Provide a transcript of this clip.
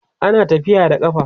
ana tafiya da ƙafa